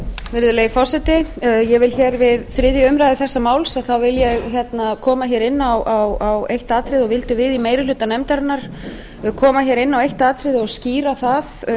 virðulegi forseti ég vil hér við þriðju umræðu þessa máls koma inn á eitt atriði og viljum við í meiri hluta nefndarinnar koma inn á eitt atriði og skýra það